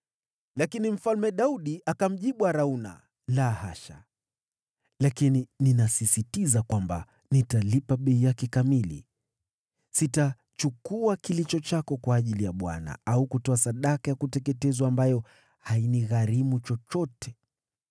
Lakini Mfalme Daudi akamjibu Arauna, “La hasha! Lakini ninasisitiza kwamba nitalipa bei yake kamili. Sitachukua kilicho chako kwa ajili ya Bwana au kutoa sadaka ya kuteketezwa ambayo hainigharimu chochote.”